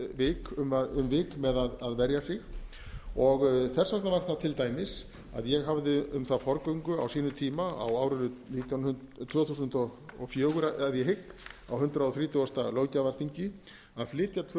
með að verja sig og þess vegna var það til dæmis að ég hafði um það forgöngu á sínum tíma á árinu tvö þúsund og fjögur að ég hygg á hundrað þrítugasta löggjafarþingi að flytja tvö